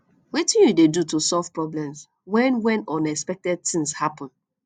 wetin you dey do to solve problems when when unexpected thing happen